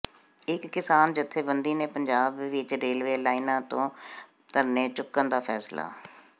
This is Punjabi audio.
ਇੱਕ ਕਿਸਾਨ ਜਥੇਬੰਦੀ ਨੇ ਪੰਜਾਬ ਵਿਚ ਰੇਲਵੇ ਲਾਈਨਾਂ ਤੋਂ ਧਰਨੇ ਚੁੱਕਣ ਦਾ ਫੈਸਲਾ